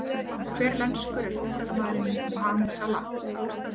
Hvers lenskur er fótboltamaðurinn Mohamed Salah?